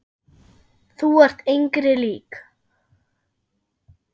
Þú ert engri lík.